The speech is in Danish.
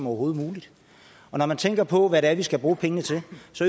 overhovedet når man tænker på hvad det er vi skal bruge pengene til